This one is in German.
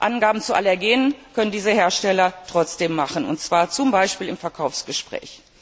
Angaben zu Allergenen können diese Hersteller trotzdem machen, zum Beispiel im Verkaufsgespräch.